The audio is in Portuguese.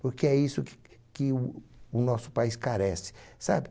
Porque é isso que que o nosso país carece, sabe?